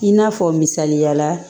I n'a fɔ misaliya la